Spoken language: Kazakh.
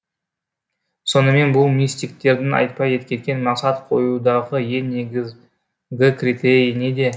сонымен бұл мистиктердің айтпай кеткен мақсат қоюдағы ең негізгі критерий неде